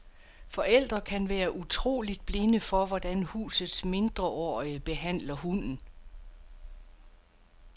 Forældre kan være utroligt blinde for, hvordan husets mindreårige behandler hunden.